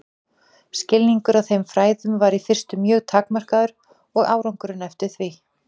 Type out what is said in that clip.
Skilningur á þessum fræðum var í fyrstu mjög takmarkaður og árangurinn eftir því.